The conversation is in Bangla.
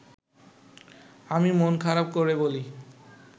আমি মন খারাপ করে বলি